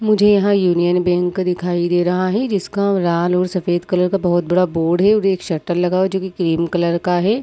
मुझे यहाँ union bank दिखाई दे रहा है जिसका लाल और सफेद कलर का बहुत बड़ा बोर्ड है और एक शटर लगा हुआ है जो ग्रीन कलर का है।